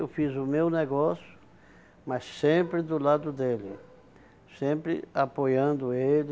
Eu fiz o meu negócio, mas sempre do lado dele, sempre apoiando ele.